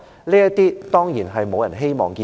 這些情況當然沒有人希望看到。